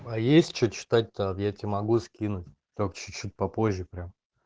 а есть что читать то так я тебе могу скинуть только чуть-чуть попозже прямо